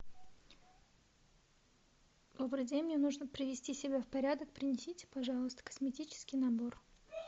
добрый день мне нужно привести себя в порядок принесите пожалуйста косметический набор